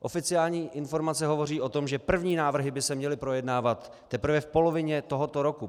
Oficiální informace hovoří o tom, že první návrhy by se měly projednávat teprve v polovině tohoto roku.